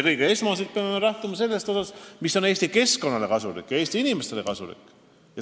Esmalt peame me lähtuma sellest, mis on Eesti keskkonnale ja Eesti inimestele kasulik.